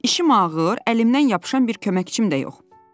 İşim ağır, əlimdən yapışan bir köməkçim də yox.